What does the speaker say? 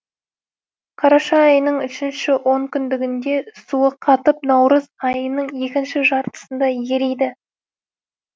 қараша айының үшінші онкүндігінде суы қатып наурыз айының екінші жартысында ериді